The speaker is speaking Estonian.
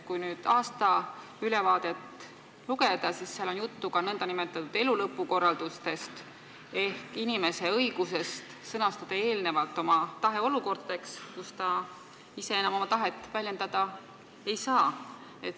Kui seda aastaülevaadet lugeda, siis seal on juttu ka nn elulõpu korraldusest ehk inimese õigusest sõnastada eelnevalt oma tahe olukordadeks, kus ta ise enam oma tahet väljendada ei saa.